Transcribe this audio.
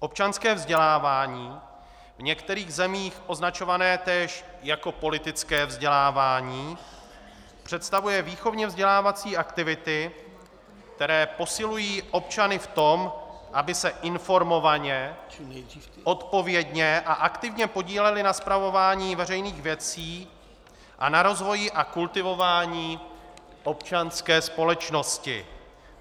Občanské vzdělávání, v některých zemích označované též jako politické vzdělávání, představuje výchovně vzdělávací aktivity, které posilují občany v tom, aby se informovaně, odpovědně a aktivně podíleli na spravování veřejných věcí a na rozvoji a kultivování občanské společnosti.